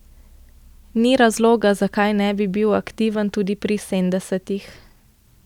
Ni razloga, zakaj ne bi bil aktiven tudi pri sedemdesetih.